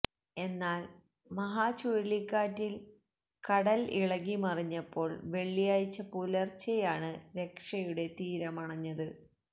എന്നാൽ മഹ ചുഴലിക്കാറ്റിൽ കടൽ ഇളകിമറിഞ്ഞപ്പോൾ വെള്ളിയാഴ്ച പുലർച്ചെയാണ് രക്ഷയുടെ തീരമണഞ്ഞത്